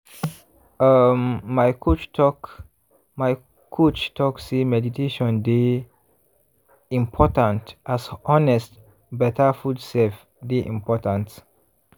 um my coach talk my coach talk say meditation dey…. important as honest better food sef dey important.